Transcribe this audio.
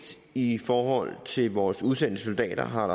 i forhold til vores udsendte soldater har